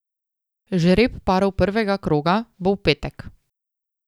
Žreb parov prvega kroga bo v petek.